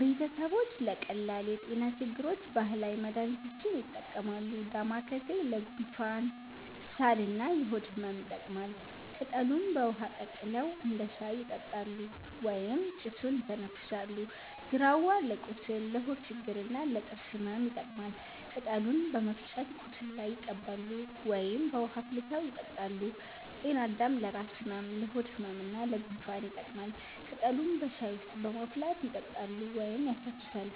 ቤተሰቦች ለቀላል የጤና ችግሮች ባህላዊ መድሃኒቶችን ይጠቀማሉ። ዳማከሴ ለጉንፋን፣ ሳል እና የሆድ ህመም ይጠቅማል። ቅጠሉን በውሃ ቀቅለው እንደ ሻይ ይጠጣሉ ወይም ጭሱን ይተነፍሳሉ። ግራዋ ለቁስል፣ ለሆድ ችግር እና ለጥርስ ህመም ይጠቀማል። ቅጠሉን በመፍጨት ቁስል ላይ ይቀባሉ ወይም በውሃ አፍልተው ይጠጣሉ። ጤናአዳም ለራስ ህመም፣ ለሆድ ህመም እና ለጉንፋን ይጠቅማል። ቅጠሉን በሻይ ውስጥ በማፍላት ይጠጣሉ ወይም ያሸቱታል።